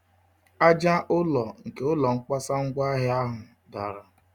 Aja-ụlọ nke ụlọ nkwasa-ngwa-ahịa ahụ dàrà